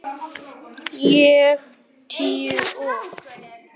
Ég tíu og